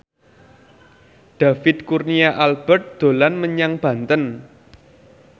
David Kurnia Albert dolan menyang Banten